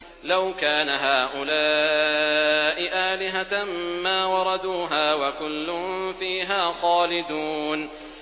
لَوْ كَانَ هَٰؤُلَاءِ آلِهَةً مَّا وَرَدُوهَا ۖ وَكُلٌّ فِيهَا خَالِدُونَ